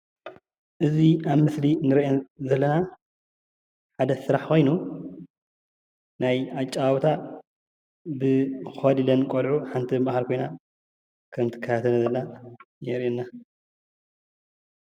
እዚ ኣብ ምስሊ እንሪአን ዘለና ሓደ ስራሕ ኮይኑ ናይ ኣጨዋውታ ኮሊለን ቆልዑ ሓንቲ ኣብ ማእከለን ኮይና ከም እትከታተለን ከም ዘላ የርእየና፡፡